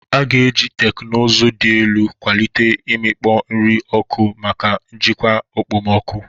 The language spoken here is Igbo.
A ga-eji teknụzụ dị elu kwalite imikpo nri n'oku maka njikwa okpomọkụ.